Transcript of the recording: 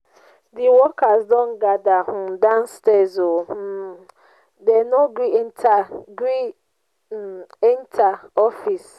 di workers don gather um downstirs o um dey no gree enter gree enter office.